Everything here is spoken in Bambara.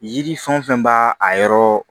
Yiri fɛn wo fɛn b'a a yɔrɔ